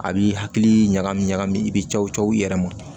A b'i hakili ɲagami ɲagami i bɛ caw cɔ i yɛrɛ ma